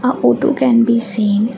a photo can be seen.